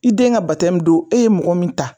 I den ka batɛmu don e ye mɔgɔ min ta